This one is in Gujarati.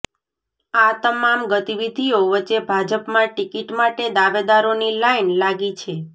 આ તમામ ગતિવીધીઓ વચ્ચે ભાજપમાં ટિકીટ માટે દાવેદારોની લાઈન લાગી છે